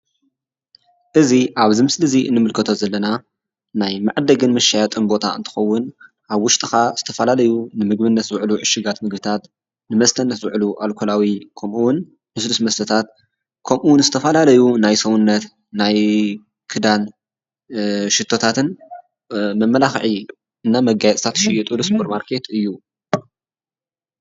እዙይ ኣብዚ ምስሊ እዙይ እንምከቶ ዘለና ናይ መዕደጊን መሻየጥን ቦታ እንትከውን ኣብ ወሽጢ ካኣ ዝተፈላለዩ ንምግብነት ዝውዕሉ ዕሹጋት ምግብታት ንመስተነት ዝውዕሉ ኣልኮላዊ መስተታት ከምኡ እውን ልስሉስ መስተታት ከምኡ እውን ዝተፈላለዩ ናይ ሰውነት ናይ ክዳን ሽቶታትን መመላኺዒን መጋየፂን ዝሽየጥሉ ሱፐርማርኬት እዩ።